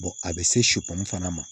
a bɛ se fana ma